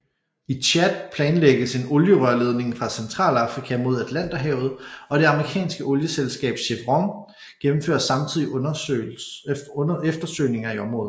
I Tchad planlægges en olierørledning fra Centralafrika mod Atlanterhavet og det amerikanske olieselskab Chevron gennemfører samtidig eftersøgninger i området